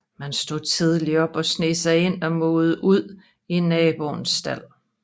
Man stod tidligt op og sneg sig ind og mugede ud i naboen stald